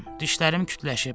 Dişlərim kütləşib.